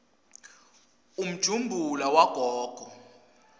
umjumbula wagogo